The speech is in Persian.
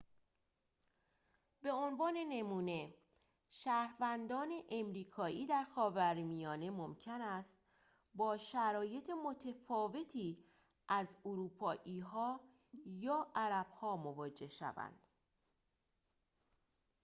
به عنوان نمونه شهروندان آمریکایی در خاورمیانه ممکن است با شرایط متفاوتی از اروپایی‌ها یا عرب‌ها مواجه شوند